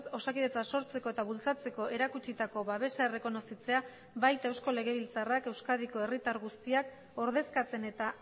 osakidetza sortzeko eta bultzatzeko erakutsitako babesa errekonozitzea baita eusko legebiltzarrak euskadiko herritar guztiak ordezkatzen eta